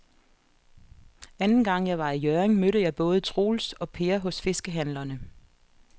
Anden gang jeg var i Hjørring, mødte jeg både Troels og Per hos fiskehandlerne.